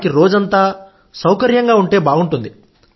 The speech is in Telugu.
వారికి రోజంతా సౌకర్యంగా ఉంటే బాగుంటుంది